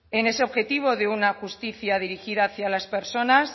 en ese objetivo de una justicia dirigida hacia las personas